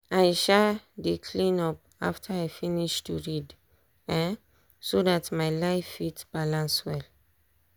i um dey cleean up after i finish to read um so dat my life fit balance well.